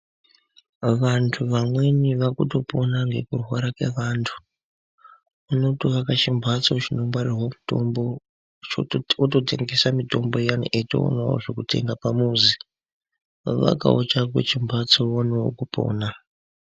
Vantu vamweni vakutopona ngekurwara kwevantu. Unotoaka chimhatso chinongwarirwa mitombo wototengesa mitombo iyani eitoonawo zvekutenga pamuzi. Vakawo chako chimhatso uonewo kupona.